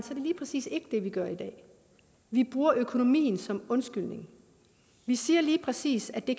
lige præcis ikke er det vi gør i dag vi bruger økonomien som undskyldning vi siger lige præcis at det